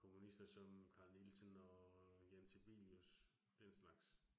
Komponister som Carl Nielsen og Jean Sibelius. Den slags